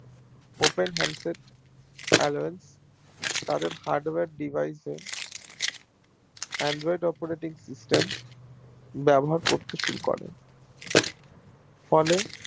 Open আরো তাদের Hardware device এ Android Operating system ব্যাবহার করতে শুরু করে ফলে